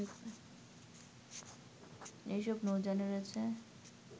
এসব নৌযানে রয়েছে